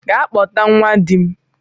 Gaa kpọta nwa dim!